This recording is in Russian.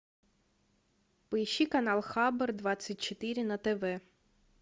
поищи канал хабар двадцать четыре на тв